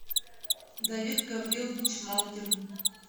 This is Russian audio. давид гаврилович малкин